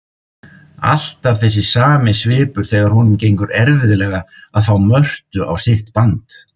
Alltaf þessi sami svipur þegar honum gengur erfiðlega að fá Mörtu á sitt band.